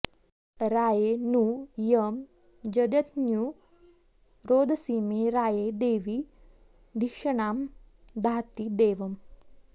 रा॒ये नु यं ज॒ज्ञतू॒ रोद॑सी॒मे रा॒ये दे॒वी धि॒षणा॑ धाति दे॒वम्